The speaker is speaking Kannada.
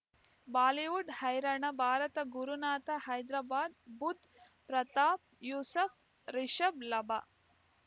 ಬಾಲಿವುಡ್ ಹೈರಾಣ ಭಾರತ ಗುರುನಾಥ ಹೈದರಾಬಾದ್ ಬುಧ್ ಪ್ರತಾಪ್ ಯೂಸುಫ್ ರಿಷಬ್ ಲಾಭ